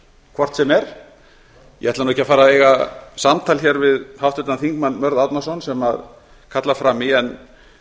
hvort sem er ég ætla ekki að fara að eiga samtal við háttvirtan þingmann mörð árnason sem kallar fram í en